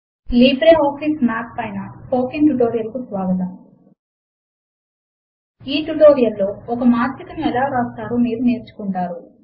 LibreOffice Math పైన spoken tutorial కు స్వాగతము ఈ ట్యుటోరియల్ లో ఒక మాత్రికను ఎలా వ్రాస్తారో మీరు నేర్చుకుంటారు